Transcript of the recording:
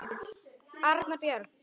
Arnar Björn.